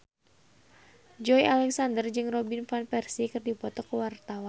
Joey Alexander jeung Robin Van Persie keur dipoto ku wartawan